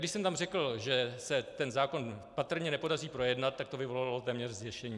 Když jsem tam řekl, že se ten zákon patrně nepodaří projednat, tak to vyvolalo téměř zděšení.